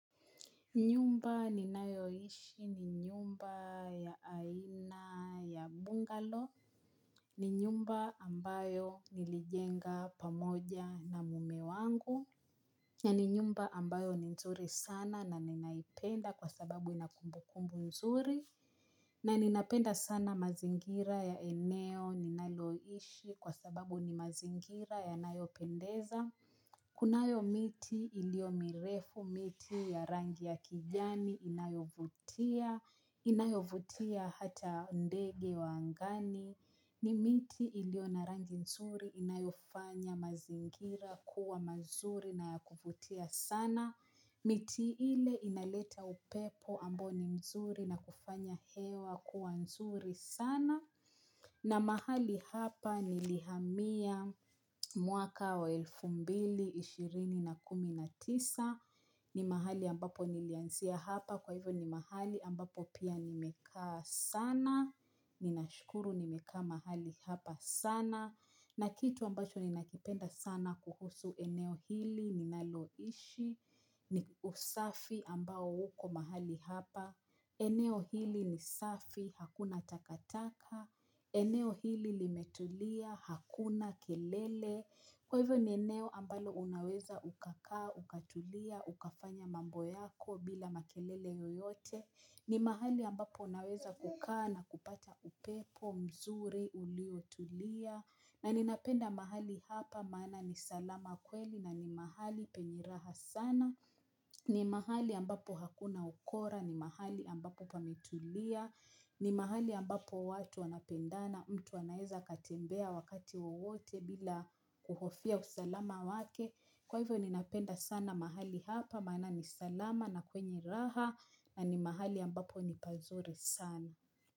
Nyumba ninayoishi ni nyumba ya aina ya bungalow, ni nyumba ambayo nilijenga pamoja na mme wangu, ni nyumba ambayo ni nzuri sana na ninaipenda kwa sababu ina kumbukumbu nzuri, na ninapenda sana mazingira ya eneo ninaloiishi kwa sababu ni mazingira yanayopendeza. Kunayo miti iliyo mirefu, miti ya rangi ya kijani inayovutia, inayovutia hata ndege wa angani, ni miti iliyo na rangi nzuri inayofanya mazingira kuwa mazuri na ya kuvutia sana. Miti ile inaleta upepo ambayo ni mzuri na kufanya hewa kuwa nzuri sana. Na mahali hapa nilihamia mwaka wa elfu mbili ishirini na kumi na tisa, ni mahali ambapo nilianzia hapa kwa hivyo ni mahali ambapo pia nimekaa sana. Ninashukuru nimekaa mahali hapa sana na kitu ambacho ninakipenda sana kuhusu eneo hili ninaloishi, ni usafi ambao uko mahali hapa, eneo hili ni safi, hakuna takataka, eneo hili limetulia, hakuna kelele, kwa hivyo ni eneo ambalo unaweza ukakaa, ukatulia, ukafanya mambo yako bila makelele yoyote, ni mahali ambapo unaweza kukaa na kupata upepo, mzuri, uliotulia, na ninapenda mahali hapa maana ni salama kweli na ni mahali penye raha sana ni mahali ambapo hakuna ukora, ni mahali ambapo pametulia, ni mahali ambapo watu wanapendana, mtu anaeza akatembea wakati wowote bila kuhofia usalama wake. Kwa hivyo ninapenda sana mahali hapa maana ni salama na kwenye raha na ni mahali ambapo ni pazuri sana.